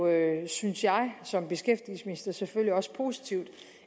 jo synes jeg som beskæftigelsesminister selvfølgelig også positivt